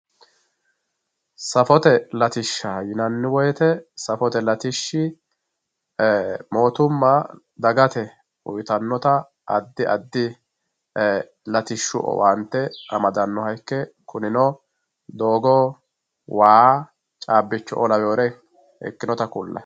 Safote latishsha yinani woyite safote latishshi mootuma dagate uyitanota adi adi latishshu owaante amadanoha ikanoha ike kunino doogo wayi chabichoo laweore ikinore kulayi.